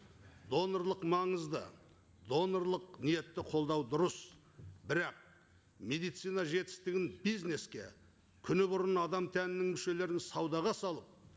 донорлық маңызды донорлық ниетті қолдау дұрыс бірақ медицина жетістігін бизнеске күні бұрын адам тәнінің мүшелерін саудаға салып